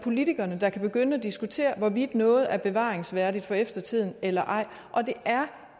politikerne der kan begynde at diskutere hvorvidt noget er bevaringsværdigt for eftertiden eller ej og det er